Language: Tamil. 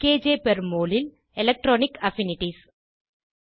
கேஜே பெர் மோல் ல் எலக்ட்ரானிக் அஃபினிட்டீஸ்